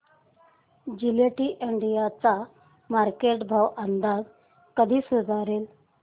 Gillette India चा market भाव अंदाजे कधी सुधारेल